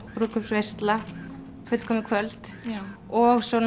brúðkaupsveisla fullkomið kvöld og svo